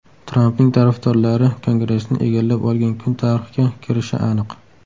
Trampning tarafdorlari Kongressni egallab olgan kun tarixga kirishi aniq.